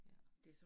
Ja